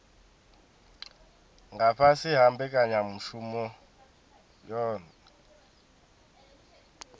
nga fhasi ha mbekanyamushumo yohe